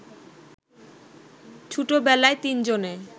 ছুটবেলায় তিনজনে